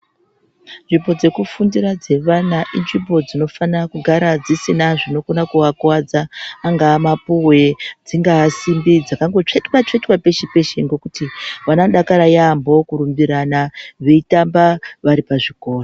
Nzvimbo dzeku fundira dze vana inzvimbo dzino fana kugara dzisina zvino kona ku vakuvadza angaa mapuwe dzingaa simbi dzakango tsvetwa tsvetwa peshe peshe ngekuti vano dakara yamho kurumbirana veitamba vari pa zvikora.